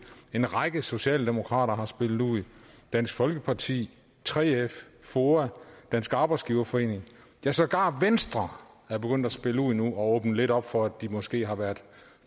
en række socialdemokrater har spillet ud dansk folkeparti 3f foa dansk arbejdsgiverforening ja sågar venstre er begyndt at spille ud nu og åbne lidt op for at de måske har været